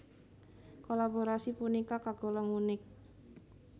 Kolaborasi punika kagolong unik